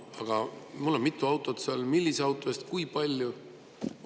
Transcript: Aga mul on mitu autot seal – millise auto eest kui palju?